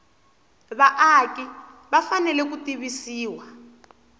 vaaki va fanele ku tivisiwa